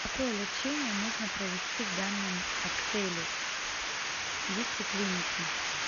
какое лечение можно провести в данном отеле есть ли клиники